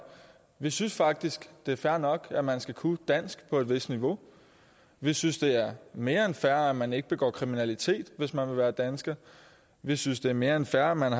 vi synes faktisk det er fair nok at man skal kunne dansk på et vist niveau vi synes det er mere end fair at man ikke begår kriminalitet hvis man vil være dansker vi synes det er mere end fair at man